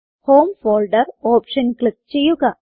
home folder option click ചെയ്യുക